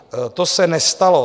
To se nestalo.